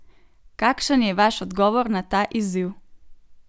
Kakšen je vaš odgovor na ta izziv?